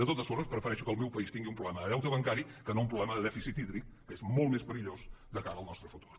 de totes formes prefereixo que el meu país tingui un problema de deute bancari que no un problema de dèficit hídric que és molt més perillós de cara al nostre futur